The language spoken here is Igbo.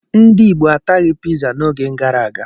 Ndị Igbo ataghị Piza n'oge gara aga.